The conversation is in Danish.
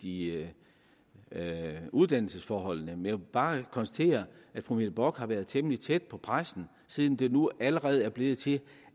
i uddannelsesforholdene men vil bare konstatere at fru mette bock har været temmelig tæt på pressen siden det nu allerede er blevet til